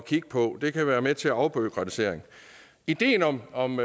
kigge på det kan være med til en afbureaukratisering ideen om om